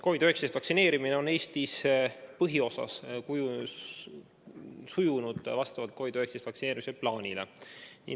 COVID‑19 vastu vaktsineerimine on Eestis põhiosas sujunud vastavalt vaktsineerimisplaanile.